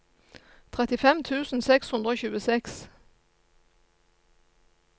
trettifem tusen seks hundre og tjueseks